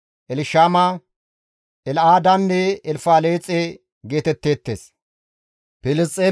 Elshama, El7aadanne Elfaleexe geetetteettes.